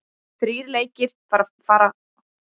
Þrír lekir fara fram hér á landi í dag.